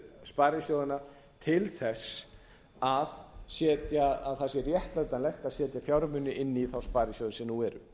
sparisjóðanna til þess að það sé réttlætanlegt að setja fjármuni inn í þá sparisjóði sem nú eru